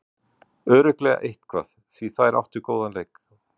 Örugglega eitthvað, því þær áttu góðan leik.